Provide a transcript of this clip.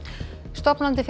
stofnandi